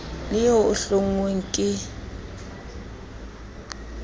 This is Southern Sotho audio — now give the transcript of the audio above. le eo e hlonngweng ke